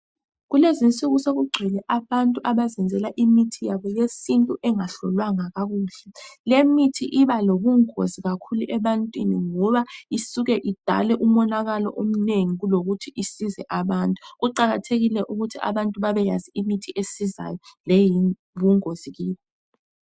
Kulezinsuku sokugcwele abantu abazenzela imithi yabo yesintu engahlolwanga kakuhle. Lemithi iba lobungozi kakhulu ebantwini ngoba isuke idale umonakalo omnengi kulokuthi isize abantu. Kuqakathekile ukuthi abantu babeyazi imithi esizayo leyingozi kibo.